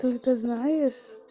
только знаешь